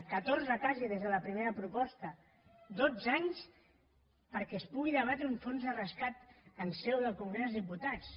catorze quasi des de la primera proposta dotze anys perquè es pugui debatre un fons de rescat en seu del congrés dels diputats